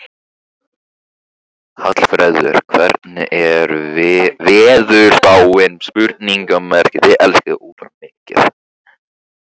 Hallfreður, hvernig er veðurspáin?